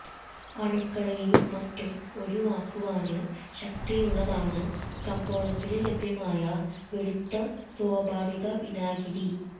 അണുക്കളെയുംമറ്റും ഒഴിവാക്കുവാന് ശക്തിയുള്ളതാണ് കമ്പോളത്തില് ലഭ്യമായ വെളുത്ത സ്വാഭാവിക വിനാഗിരി